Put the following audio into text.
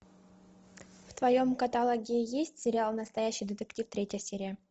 в твоем каталоге есть сериал настоящий детектив третья серия